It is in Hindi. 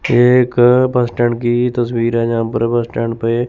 ये एक बस स्टैंड की तस्वीर है जहाँ पर बस स्टैंड पे--